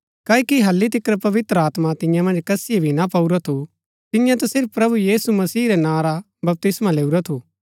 क्ओकि हालि तिकर पवित्र आत्मा तियां मन्ज कसीये भी ना पाऊरा थू तिन्ये ता सिर्फ प्रभु यीशु मसीह रै नां रा बपतिस्मा लैऊरा थू